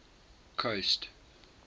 coast